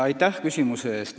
Aitäh küsimuse eest!